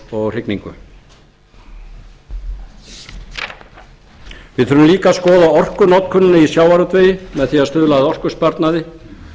líka að skoða orkunotkunina í sjávarútvegi með því að stuðla að orkusparnaði